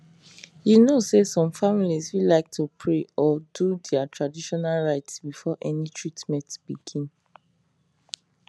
you know say some families fit like to pray or do their traditional rites before any treatment begin